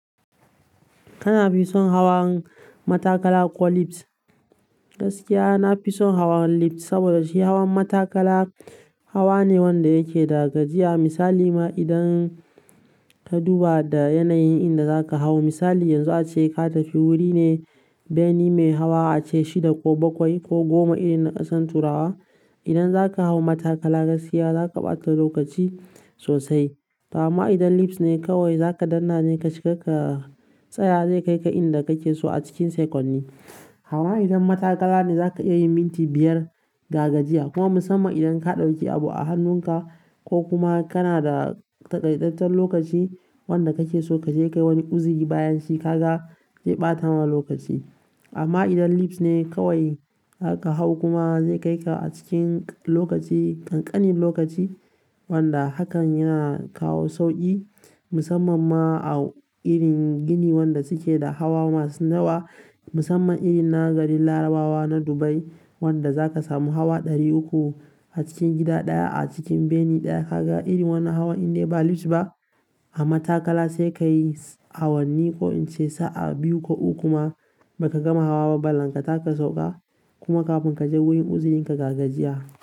Kana fi son hawan matakala ko lift? Gaskiya nafison hawan litfs saboda shi hawan matakala hawane wanda yake da gajiya. Misali ma idan ka duba da yanayin inda za ka hau. Misali yanzu ace ka tafi wuri ne bene mai hawa ace shida ko bakwai ko goma irin na kasan turawa. Idan za ka hau matakala gaskiya za ka ɓata lokaci sosai. Amma idan lifts ne kawai za ka dannane ka shiga ka tsaya, zai kai ka inda kake so a cikin seconni. Amma idan matakala ne za ka iya yin minti biyar gargajiya. Kuma musamman idan ka ɗauki abu a hannunka ko kuma kana da taƙaitatten lokaci wanda kake so kaje kayi wani uziri bayan shi, ka ga zai ɓata ma lokaci. Amma idan lifts ne kawai aka hau kuma zai kai ka a cikin lokaci, ƙanƙanin lokaci wanda hakan yana kawo sauƙi musamman ma a irin gini wanda suke da hawa masu nawa. Musamman irin na garin Larabawa na Dubai wanda za ka samu hawa ɗari uku a cikin gida ɗaya, a cikin bene ɗaya. Ka ga irin wannan hawan in dai ba lifts ba a matakala sai ka yi awanni ko in ce sa'a biyu ko uku kuma ba ka gama hawa ba. Ballan tama ka sauƙa kuma kafin ka je wurin uzirin ka ga gajiya.